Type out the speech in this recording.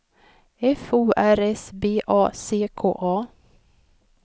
F O R S B A C K A